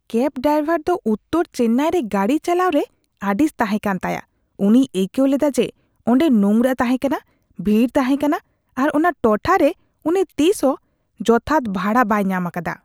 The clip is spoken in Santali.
ᱠᱮᱹᱵ ᱰᱨᱟᱭᱵᱷᱟᱨ ᱫᱚ ᱩᱛᱛᱚᱨ ᱪᱮᱱᱱᱟᱭ ᱨᱮ ᱜᱟᱹᱰᱤ ᱪᱟᱞᱟᱣ ᱨᱮ ᱟᱹᱲᱤᱥ ᱛᱟᱦᱮᱸᱠᱟᱱ ᱛᱟᱭᱟ ᱾ ᱩᱱᱤᱭ ᱟᱹᱭᱠᱟᱹᱣ ᱞᱮᱫᱟ ᱡᱮ ᱚᱸᱰᱮ ᱱᱳᱝᱨᱟ ᱛᱟᱦᱮᱸᱠᱟᱱᱟ, ᱵᱷᱤᱲ ᱛᱟᱦᱮᱸᱠᱟᱱᱟ ᱟᱨ ᱚᱱᱟ ᱴᱚᱴᱷᱟ ᱨᱮ ᱩᱱᱤ ᱛᱤᱥᱦᱚᱸ ᱡᱚᱛᱷᱟᱛ ᱵᱷᱟᱲᱟ ᱵᱟᱭ ᱧᱟᱢ ᱟᱠᱟᱫᱟ ᱾